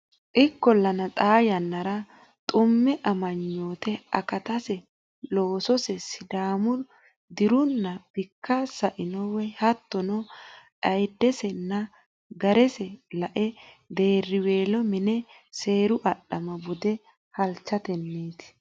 Ikkollana xaa yannara Xumme amanyoote akatase lossose Sidaamu dii runna bikka sa ino woy hattono ayiddesenna ga rese lae deerriweelo miine seeru adhama bude halchatenniiti.